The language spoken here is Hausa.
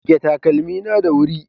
Goge takalmi na da wuri